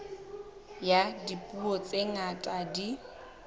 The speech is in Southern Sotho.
ya dipuo tse ngata di